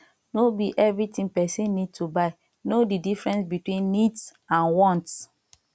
no be everything person need to buy no di difference between needs and wants